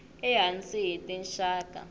e hansi hi tinxaka